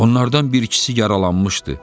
Onlardan bir-ikisi yaralanmışdı.